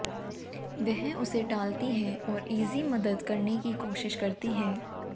वह उसे टालती है और इज़ी मदद करने की कोशिश करती है